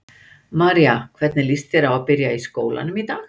María: Hvernig líst þér á að byrja í skólanum í dag?